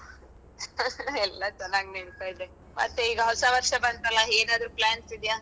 ಎಲ್ಲಾ ಚೆನ್ನಾಗಿ ನಡೀತಾ ಇದೆ ಮತ್ತೆ ಈಗ ಹೊಸ ವರ್ಷ ಬಂತಲಾ ಏನಾದ್ರು plans ಇದ್ಯಾ?